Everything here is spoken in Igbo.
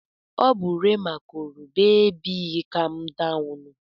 Ọ bụ Rema gụrụ Beebi Kam Dawụnụ.